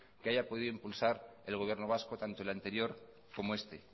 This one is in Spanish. que haya podido impulsar el gobierno vasco tanto el anterior como este